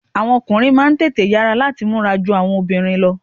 Àwọn ọkùnrin máà ń tètè yara lati múra jù awọn obìnrin lọ.